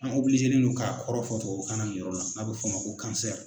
An no k'a kɔrɔfɔ tubabukan na nin yɔrɔ la n'a bɛ fɔ a ma ko